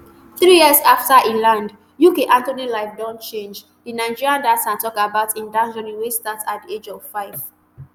three years afta e land uk anthony life don change di nigerian dancer tok about im dance journey wey start at di age of five